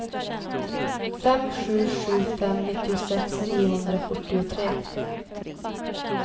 fem sju sju fem nittiosex niohundrafyrtiotre